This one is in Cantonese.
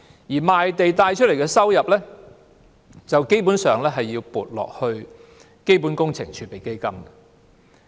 由賣地所得的收入，基本上要撥入基本工程儲備基金。